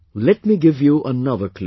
Let me give you another clue